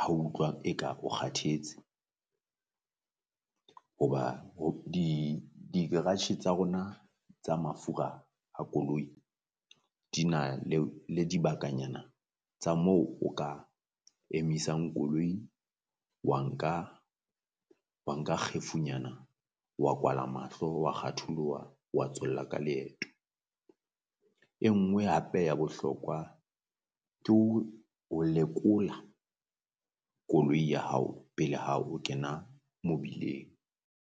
ha utlwa eka o kgathetse. Hoba ho di di garage tsa rona tsa mafura a koloi di na le o le dibakanyana tsa moo o ka emisang koloi, wa nka wa nka kgefu nyana wa kwala mahlo wa kgatholoha wa tswella ka leeto. E nngwe hape ya bohlokwa ke ho ho lekola koloi ya hao pele ha o kena mobileng.